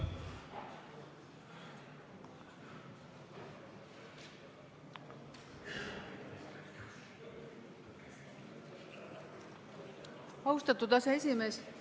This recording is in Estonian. Austatud aseesimees!